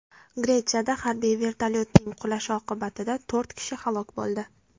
Gretsiyada harbiy vertolyotning qulashi oqibatida to‘rt kishi halok bo‘ldi.